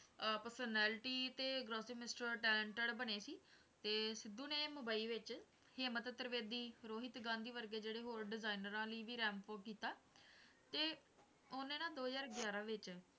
ਅਹ personality ਤੇ mister talented ਬਣੇ ਸੀ, ਤੇ ਸਿੱਧੂ ਨੇ ਮੁੰਬਈ ਵਿੱਚ ਹਿੰਮਤ ਤ੍ਰਿਵੇਦੀ, ਰੋਹਿਤ ਗਾਂਧੀ ਵਰਗੇ ਜਿਹੜੇ ਹੋਰ ਡਿਜਾਇਨਰਾਂ ਲਈ ਵੀ ramp walk ਕੀਤਾ, ਤੇ ਉਹਨੇ ਨਾ ਦੋ ਹਜ਼ਾਰ ਗਿਆਰਾਂ ਵਿੱਚ,